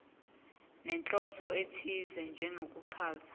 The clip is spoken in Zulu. nenhloso ethize njengokuchaza